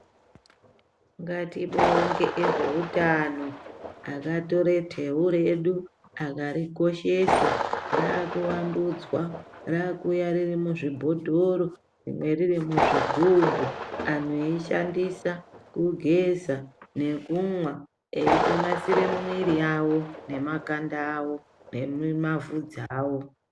Ngatibonge vezveutano akatore teu redu akarikoshesa ,raakuvandudzwa raakuuya ririmuzvibhotoro rimwe riri muzvigubhu antu eishandisa kugeza nekumwa eitonasire miiri yavo nemakanda avo nemavhudzi avo.